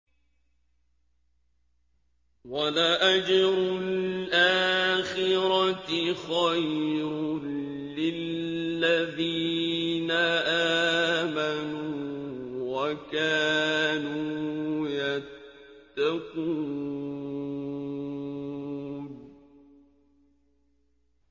وَلَأَجْرُ الْآخِرَةِ خَيْرٌ لِّلَّذِينَ آمَنُوا وَكَانُوا يَتَّقُونَ